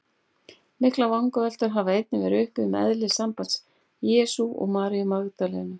Miklar vangaveltur hafa einnig verið uppi um eðli sambands Jesú og Maríu Magdalenu.